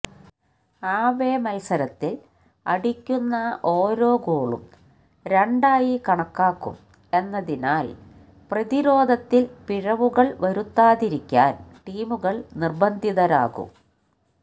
ആവേ മത്സരത്തില് അടിക്കുന്ന ഓരോ ഗോളും രണ്ടായി കണക്കാക്കും എന്നതിനാല് പ്രതിരോധത്തില് പിഴവുകള് വരുത്താതിരിക്കാന് ടീമുകള് നിര്ബന്ധിതരാകും